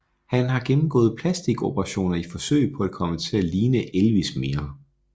Han har gennemgået plastiskoperationer i forsøg på at komme til at ligne Elvis mere